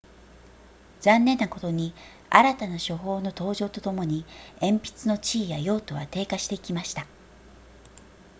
残念なことに新たな書法の登場とともに鉛筆の地位や用途は低下していきました